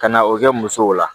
Ka na o kɛ musow la